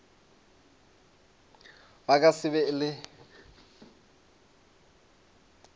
ba ka se be le